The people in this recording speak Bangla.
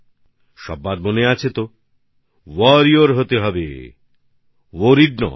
আপনাদের সবার মনে আছে তোওয়ারির ওয়ারিওর হতে হবে ওরিয়র ভরিয়ার নয়